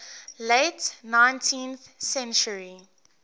late nineteenth century